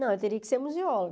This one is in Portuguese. Não, eu teria que ser museóloga.